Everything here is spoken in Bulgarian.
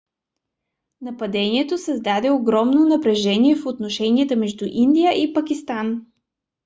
нападението създаде огромно напрежение в отношенията между индия и пакистан